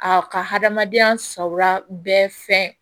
A ka hadamadenya sawura bɛɛ fɛn